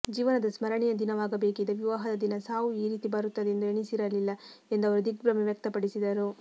ಜೀವನದ ಸ್ಮರಣೀಯ ದಿನವಾಗಬೇಕಿದ್ದ ವಿವಾಹದ ದಿನ ಸಾವು ಈ ರೀತಿ ಬರುತ್ತದೆ ಎಂದು ಎಣಿಸಿರಲಿಲ್ಲ ಎಂದು ಅವರು ದಿಗ್ಭ್ರಮೆ ವ್ಯಕ್ತಪಡಿಸಿದರು